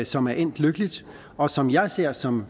som er endt lykkeligt og som jeg ser som